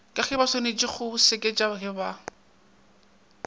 gebaswanetše go seketša ge ba